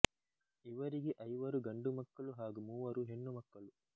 ಇವರಿಗೆ ಐವರು ಗಂಡು ಮಕ್ಕಳು ಹಾಗು ಮೂವರು ಹೆಣ್ಣು ಮಕ್ಕಳು